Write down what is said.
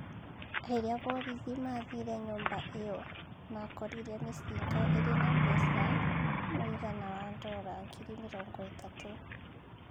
Rĩrĩa borithi maathire nyũmba ĩyo makorire mĩcinga ĩrĩ na mbeca mũigana wa ndora ngiri mĩrongo ĩtatũ.